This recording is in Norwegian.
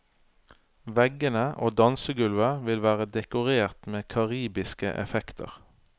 Veggene og dansegulvet vil være dekorert med karibiske effekter.